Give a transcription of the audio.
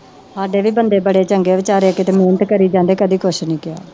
ਸਾਡੇ ਵੀ ਬੰਦੇ ਬੜੇ ਚੰਗੇ ਬੇਚਾਰੇ ਕਿਤੇ ਮਿਹਨਤ ਕਰੀ ਜਾਂਦੇ ਕਦੇ ਕੁਛ ਨੀ ਕਿਹਾ।